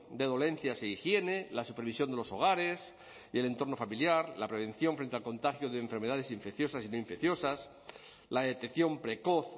de dolencias e higiene la supervisión de los hogares y el entorno familiar la prevención frente al contagio de enfermedades infecciosas y no infecciosas la detección precoz